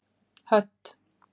Hödd